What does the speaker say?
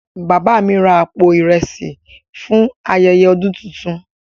Baba mi ra àpò ìrẹsì fún ayẹyẹ ọdún tuntun.